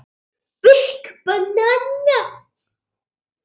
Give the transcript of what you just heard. Aftasta línan verður eins.